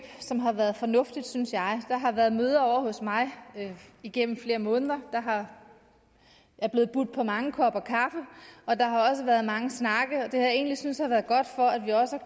som har været fornuftigt synes jeg der har været møder ovre hos mig igennem flere måneder der er blevet budt på mange kopper kaffe og der har også været mange snakke det har jeg egentlig syntes har været godt for at vi også